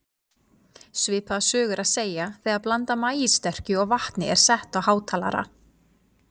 Svipaða sögu er að segja þegar blanda af maíssterkju og vatni er sett á hátalara.